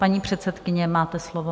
Paní předsedkyně, máte slovo.